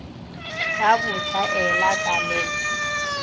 ka botlaela ka le le